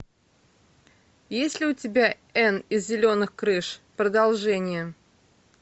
есть ли у тебя энн из зеленых крыш продолжение